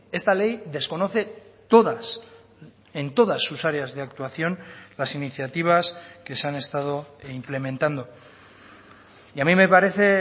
esta ley desconoce todas en todas sus áreas de actuación las iniciativas que se han estado implementando y a mí me parece